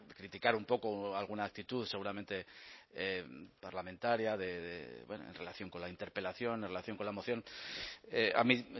criticar un poco alguna actitud seguramente parlamentaria en relación con la interpelación en relación con la moción a mí